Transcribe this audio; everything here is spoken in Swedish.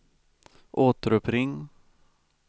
återuppring